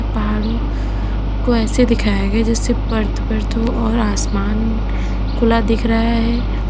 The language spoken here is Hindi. पहाड़ों को ऐसे दिखाया गया जैसे परत परत हो और आसमान खुला दिख रहा है।